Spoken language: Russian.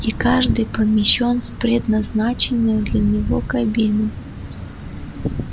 и каждый помещён в предназначенную для него кабину